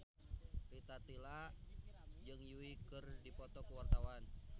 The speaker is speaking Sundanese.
Rita Tila jeung Yui keur dipoto ku wartawan